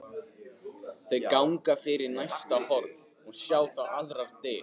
Þau ganga fyrir næsta horn og sjá þá aðrar dyr.